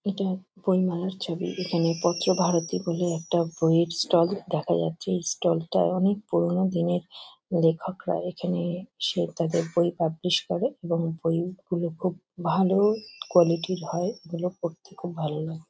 এটা বইমেলার ছবি। এখানে পত্রভারতী বলে একটা বইয়ের ষ্টল দেখা যাচ্ছে। এই ষ্টল -টায় অনেক পুরোনো দিনের লেখকরা এখানে এসে তাদের বই পাবলিশ করে | এবং বইগুলো খুব ভালো কোয়ালিটি -র হয়। এগুলো পড়তে খুব ভালো লাগে।